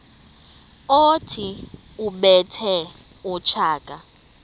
othi ubethe utshaka